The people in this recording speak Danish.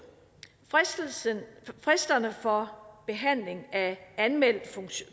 skal fristerne for behandling af en anmeldt